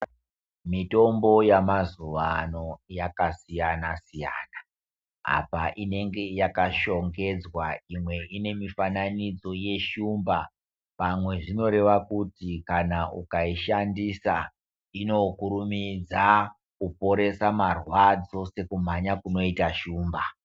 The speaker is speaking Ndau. Mitombo yamazuvano yakasiyana siyana apa inenge yakashongedzwa imwe ine mifananidzo yeshumba pamwe zvinoreva kuti kana ukaishandisa inokurumidza kuoorese marwadzo sekumhanya kunoite shumba.